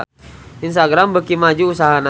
Instagram beuki maju usahana